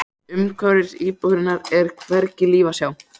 Umhverfis búðirnar er hvergi líf að sjá.